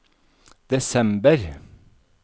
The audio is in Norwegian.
desember